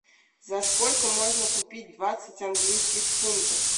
за сколько можно купить двадцать английских фунтов